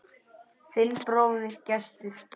Þinn bróðir, Gestur.